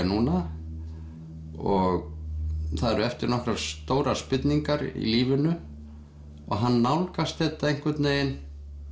núna og það eru eftir nokkrar stórar spurningar í lífinu og hann nálgast þetta einhvern veginn